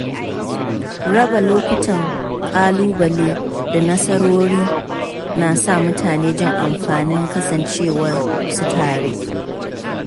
Raba lokutan ƙalubale da nasarori na sa mutane jin amfanin kasancewar su tare.